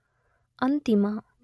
ಅಂತಿಮ